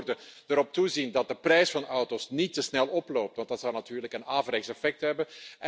Met andere woorden erop toezien dat de prijs van auto's niet te snel oploopt want dat zou natuurlijk een averechts effect hebben.